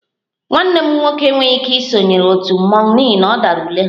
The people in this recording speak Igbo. Nwanne m nwoke enweghị ike isonyere otu mmọnwụ n'ihi na ọ dara ule ha